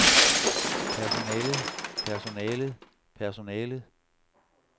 personalet personalet personalet